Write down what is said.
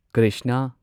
Krishna